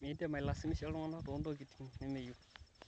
midim ailazimisha iltunganak tontikiting nimeyieu